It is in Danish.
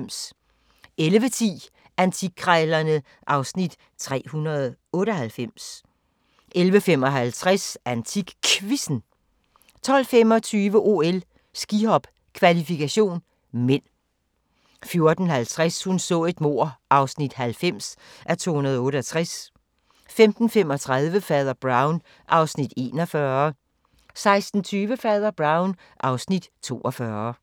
11:10: Antikkrejlerne (Afs. 398) 11:55: AntikQuizzen 12:25: OL: Skihop - kvalifikation (m) 14:50: Hun så et mord (90:268) 15:35: Fader Brown (Afs. 41) 16:20: Fader Brown (Afs. 42)